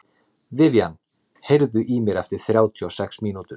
Vivian, heyrðu í mér eftir þrjátíu og sex mínútur.